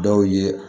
Dɔw ye